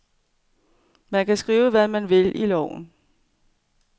Man kan skrive, hvad man vil i lovene.